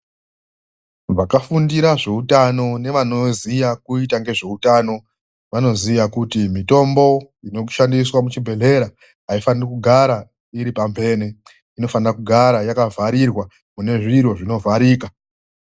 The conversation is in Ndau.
Vakafundira zveutano nevanoziya kuita ngezveutano vanoziya kuti mitombo inoshandiswa muchibhedhlera aifaniri kugara iri pamhene. Inofanira kugara yakavharirwa mune zviro zvinovharika.